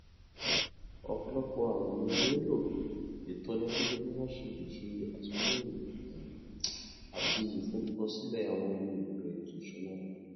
ọpọlọpọ àwọn ènìyàn nílò ìtọni lórí bí wọn ṣe lè ṣe àtúnyẹwò um àti ìforúkọsílẹ àwọn ohun èlò ètò ìṣúnná owó